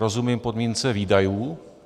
Rozumím podmínce výdajů.